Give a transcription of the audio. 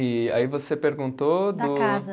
E aí você perguntou do. Da casa.